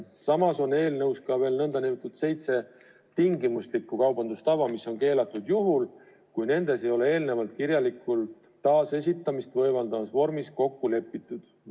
Samas on eelnõus ka veel seitse nn tingimuslikku kaubandustava, mis on keelatud juhul, kui nendes ei ole eelnevalt kirjalikult taasesitamist võimaldavas vormis kokku lepitud.